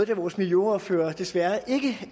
da vores miljøordfører desværre ikke